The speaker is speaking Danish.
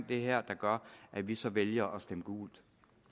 det her der gør at vi så vælger at stemme gult